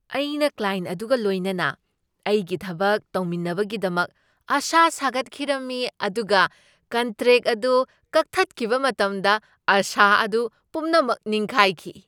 ꯑꯩꯅ ꯀ꯭ꯂꯥꯏꯟꯠ ꯑꯗꯨꯒ ꯂꯣꯏꯅꯅ ꯑꯩꯒꯤ ꯊꯕꯛ ꯇꯧꯅꯕꯒꯤꯗꯃꯛ ꯑꯁꯥ ꯁꯥꯒꯠꯈꯤꯔꯝꯃꯤ ꯑꯗꯨꯒ ꯀꯟꯇ꯭ꯔꯦꯛ ꯑꯗꯨ ꯀꯛꯊꯠꯈꯤꯕ ꯃꯇꯝꯗ ꯑꯁꯥ ꯑꯗꯨ ꯄꯨꯝꯅꯃꯛ ꯅꯤꯡꯈꯥꯏꯈꯤ ꯫